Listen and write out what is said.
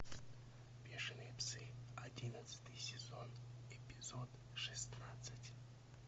бешеные псы одиннадцатый сезон эпизод шестнадцать